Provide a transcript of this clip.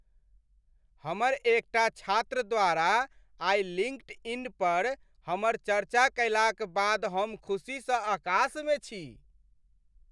हमर एकटा छात्र द्वारा आइ लिङ्कडइन पर हमर चरचा कयलाक बाद हम ख़ुसी स अकास मे छी।